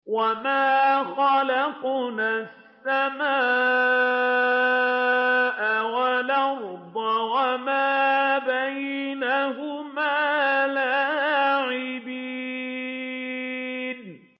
وَمَا خَلَقْنَا السَّمَاءَ وَالْأَرْضَ وَمَا بَيْنَهُمَا لَاعِبِينَ